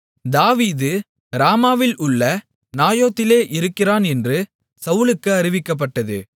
தாவீது ராமாவில் உள்ள நாயோதிலே இருக்கிறான் என்று சவுலுக்கு அறிவிக்கப்பட்டது